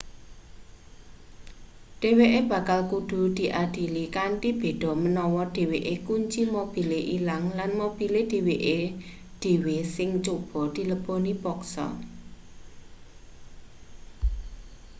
dheweke bakal kudu diadili kanthi beda menawa dheweke kunci mobile ilang lan mobile dheweke dhewe sing coba dileboni paksa